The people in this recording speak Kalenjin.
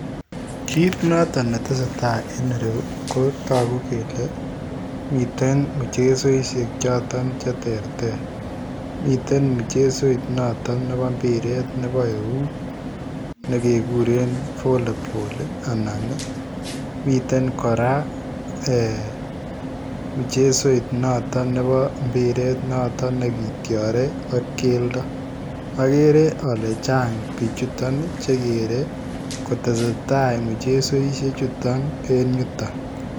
Kiit notoon ne tesetai en ireyuu ko taguu kele miten mchezoisiek chotoon che terter miten mchezoit nitoon nebo mpireet nebo eut neke kureen [valleyball] ii anan ii miten kora kora eeh miten mchezoit Nebo mpireet nekityarei anan ko keldaa agere ale chaang bichutoon che gerei kotesetai mchezoisiek chutoon kotesetai en yutoon.